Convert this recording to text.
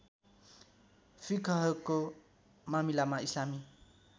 फिकहको मामिलामा इस्लामी